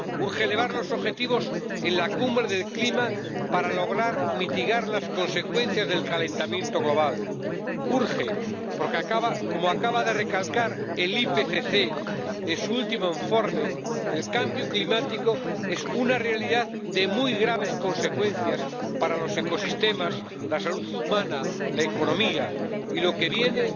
Urge elevar los objetivos en la Cumbre del Clima para lograr mitigar las consecuencias del calentamiento global. Urge porque, como acaba de recalcar el IPCC en su último informe, el cambio climático es una realidad de muy graves consecuencias para los ecosistemas, la salud humana y la economía. Y lo que viene